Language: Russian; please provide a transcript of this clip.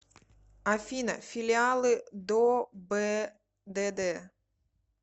афина филиалы добдд